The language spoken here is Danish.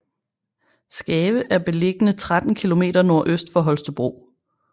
Skave er beliggende 13 kilometer nordøst for Holstebro